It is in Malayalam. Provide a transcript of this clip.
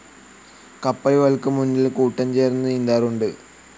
കപ്പലുകൾക്ക് മുന്നിൽ കൂട്ടം ചേർന്നു നീന്താറുണ്ട്.